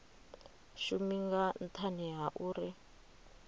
shumi nga nthani ha uri